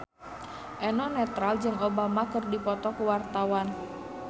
Eno Netral jeung Obama keur dipoto ku wartawan